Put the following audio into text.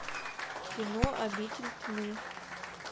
кино обитель тьмы